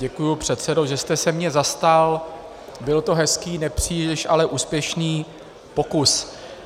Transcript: Děkuji předsedo, že jste se mě zastal, byl to hezký, nepříliš ale úspěšný pokus.